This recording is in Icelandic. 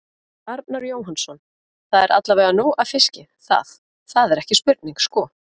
Arnar Jóhannsson: Það er allavega nóg af fiski, það, það er ekki spurning sko?